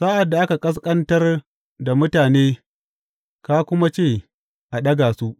Sa’ad da aka ƙasƙantar da mutane ka kuma ce, A ɗaga su!’